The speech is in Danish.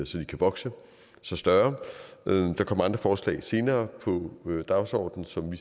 så de kan vokse sig større der kommer andre forslag senere på dagsordenen som vi